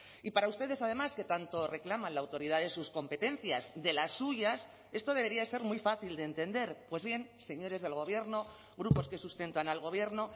y para ustedes además que tanto reclaman la autoridad de sus competencias de las suyas esto debería ser muy fácil de entender pues bien señores del gobierno grupos que sustentan al gobierno